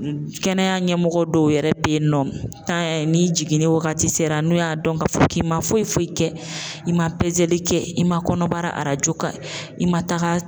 Kɛnɛya ɲɛmɔgɔ dɔw yɛrɛ be yen nɔ n'a y'a ye ni jiginni wagati sera n'u y'a dɔn ka fɔ k'i ma foyi foyi kɛ i ma pezeli kɛ i ma kɔnɔbara arajo ka i ma taga